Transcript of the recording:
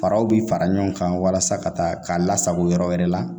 Faraw bi fara ɲɔgɔn kan walasa ka taa ka lasago yɔrɔ wɛrɛ la